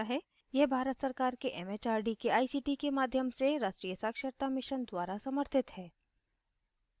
यह भारत सरकार के एमएचआरडी के आईसीटी के माध्यम से राष्ट्रीय साक्षरता mission द्वारा समर्थित है